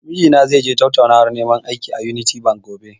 Mijina zai je tattaunawar neman aiki, a "Unity bank", gobe.